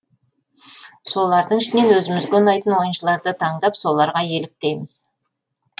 солардың ішінен өзімізге ұнайтын ойыншыларды таңдап соларға еліктейміз